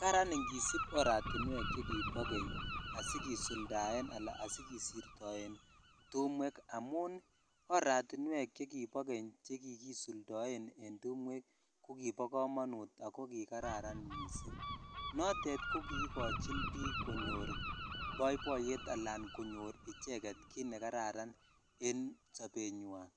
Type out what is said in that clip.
Karaan ingisiib oratinweek chegibo keny asigesuldaen anan asigisiptoen tumweek amun, oratinweek chegibo keny chegigisuldoen en tumweek kogibo komonuut ago kigaran misiing', noteet kogigochin biik konyoor boiboiyeet alaan konyoor icheget kiit negararan en sobenywan,